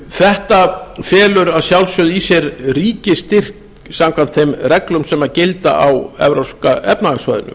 þetta felur að sjálfsögðu í sér ríkisstyrk samkvæmt þeim reglum sem gilda á evrópska efnahagssvæðinu